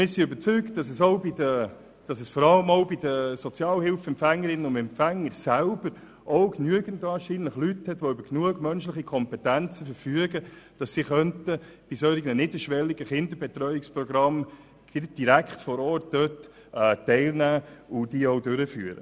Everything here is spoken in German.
Es gäbe unter den Sozialhilfeempfängerinnen und -empfängern sicher genügend Leute mit den nötigen Kompetenzen, solch niederschwellige Kinderbetreuungen durchzuführen.